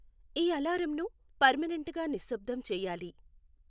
ఈ అలారంను పెర్మినెంట్ గా నిశ్శబ్దం చేయాలి